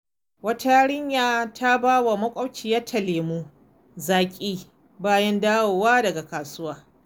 Wata yarinya ta ba wa makwabciyarta lemun zaki bayan dawowa daga kasuwa.